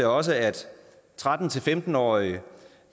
også at tretten til femten årige